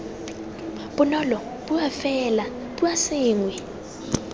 bonolo bua fela bua sengwe